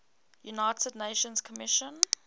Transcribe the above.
united nations commission